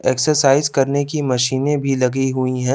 Exercise करने की मशीनें भी लगी हुई हैं।